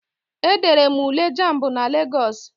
E dere m Ule jamb na Lagos.